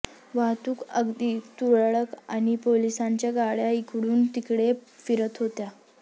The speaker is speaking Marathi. वाहतूक अगदी तुरळक आणि पोलिसांच्या गाड्या इकडूनतिकडे फिरत होत्या